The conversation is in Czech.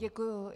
Děkuji.